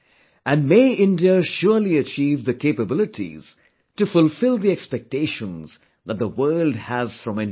And may India surely achieve the capabilities to fulfil the expectations that the world has from India